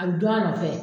A bɛ dɔn a nɔfɛ